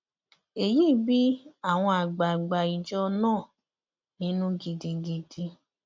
èyí bí àwọn àgbààgbà ìjọ náà nínú gidigidi